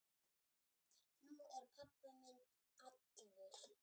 Nú er pabbi minn allur.